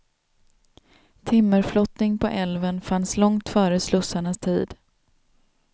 Timmerflottning på älven fanns långt före slussarnas tid.